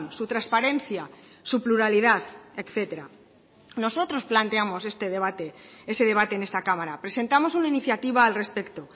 su transparencia su pluralidad etcétera nosotros planteamos ese debate en esta cámara presentamos una iniciativa al respecto